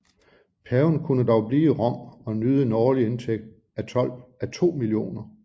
Paven kunne dog blive i Rom og nyde en årlig indtægt af 2 millioner